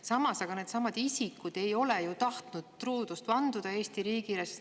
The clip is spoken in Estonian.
Samas need isikud ei ole ju tahtnud Eesti riigile truudust vanduda.